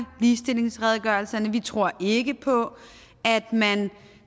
ligestillingsredegørelserne vi tror ikke på at man